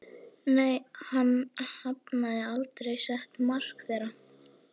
Nei, hann hafði aldrei sett markið hærra.